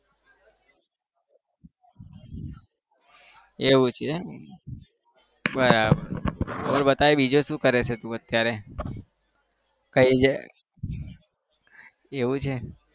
એવું છે એમ બરાબર તો બતાય બીજું શું કરે છે તું અત્યારે? કઈ છે? એવું છે.